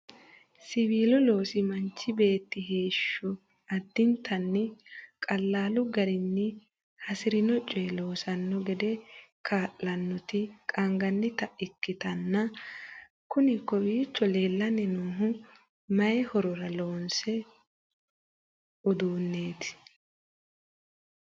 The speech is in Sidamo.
siwiilu loosi manchi beetti heeshsho addintanni qalaalu garinni hasirino coye loosanno gede kaa'lanoti qaangannita ikkitanna? kuni kowiicho leellanni noohu mayi horora hosanno uduunneeti?